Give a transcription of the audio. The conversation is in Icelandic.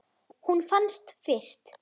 Hún fannst fyrst.